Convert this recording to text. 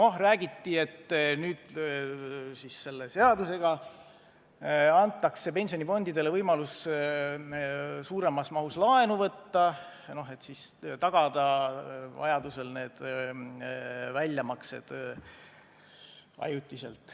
Noh, räägiti, et selle seadusega antakse pensionifondidele võimalus suuremas mahus laenu võtta, et tagada vajadusel need väljamaksed.